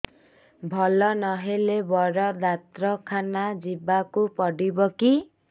ଭଲ ନହେଲେ ବଡ ଡାକ୍ତର ଖାନା ଯିବା କୁ ପଡିବକି